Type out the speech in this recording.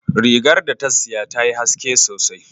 Rigar da ta siya tayi haske sosai